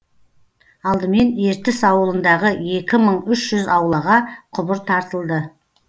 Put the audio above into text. алдымен ертіс ауылындағы екі мың үш жүз аулаға құбыр тартылды